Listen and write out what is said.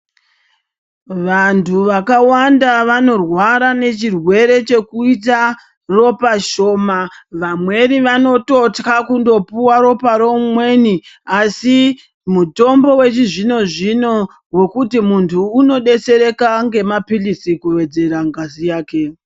Vantu vakawanda vanorwara nechirwere chekuita ropa shoma, vamweni vanototya kundopuwa ropa reumweni asi mutombo wechizvino-zvino wekuti muntu unodetsereka ngemapirizi kuwedzera ngazi yake.